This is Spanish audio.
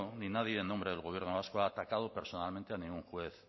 ni nadie en nombre del gobierno vasco ha atacado personalmente a ningún juez